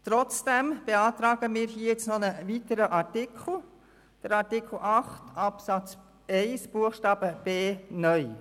Trotzdem beantragen wir einen weiteren Artikel, den Artikel 8 Absatz 1 Buchstabe d (neu).